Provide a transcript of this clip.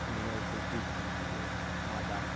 ты меня ещё в жизни не видела мадам